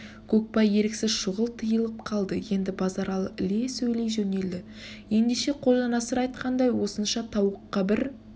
көкбай еріксіз шұғыл тыйылып қалды енді базаралы іле сөйлей жөнелді ендеше қожанасыр айтқандай осынша тауыққа бір